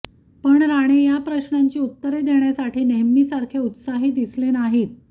पण राणे या प्रश्नांची उत्तरे देण्यासाठी नेहमीसारखे उत्साही दिसले नाहीत